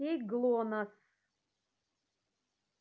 окей глонассс